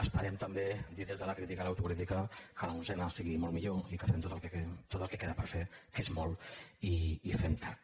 esperem també dit des de la crítica i l’autocrítica que l’onzena sigui molt millor i que fem tot el que queda per fer que és molt i fem tard